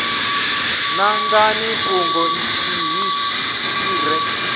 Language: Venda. nangani fhungo ḽithihi ḽi re